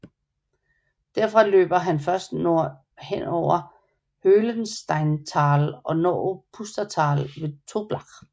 Derfra løber den først nordover gennem Höhlensteintal og når Pustertal ved Toblach